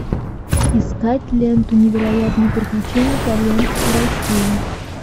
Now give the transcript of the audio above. искать ленту невероятные приключения итальянцев в россии